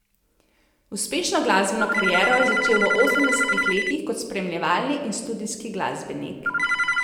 Uspešno glasbeno kariero je začel v osemdesetih letih kot spremljevalni in studijski glasbenik.